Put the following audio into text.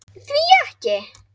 Því ekki?